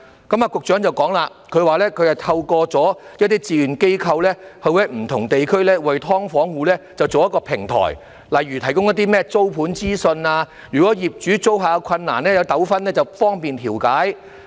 局長說，他透過一些志願機構在不同地區設立平台，為"劏房戶"提供一些例如租盤方面的資訊，以及當業主與租客有困難或糾紛時亦方便進行調解。